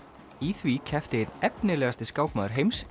í því keppti einn efnilegasti skákmaður heims